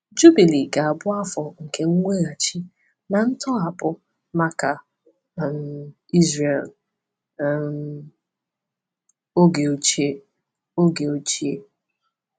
Jubili ga-abụ afọ nke mweghachi na ntọhapụ maka um Izrel um oge ochie. oge ochie.